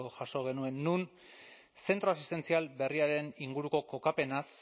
jaso genuen non zentro asistentzial berriaren inguruko kokapenaz